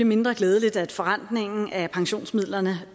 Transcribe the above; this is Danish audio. mindre glædeligt at forrentningen af pensionsmidlerne